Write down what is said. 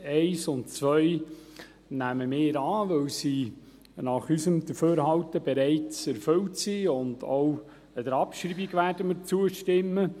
1 und 2 nehmen wir an, weil diese nach unserem Dafürhalten bereits erfüllt sind, und auch der Abschreibung werden wir zustimmen.